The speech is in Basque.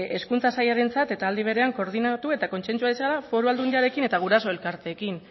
hezkuntza sailarentzat eta aldi berean koordinatu eta kontsentsu dezala foru aldundiarekin eta guraso elkarteekin